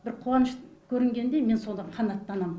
бір қуаныш көрінгенде мен содан қанаттанам